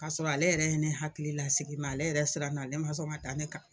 K'a sɔrɔ ale yɛrɛ ye ne hakili lasigi ale yɛrɛ siranna ale ma sɔn ka da ne kan.